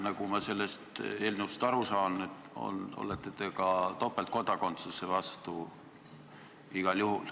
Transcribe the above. Nagu ma sellest eelnõust aru saan, olete te igal juhul ka topeltkodakondsuse vastu.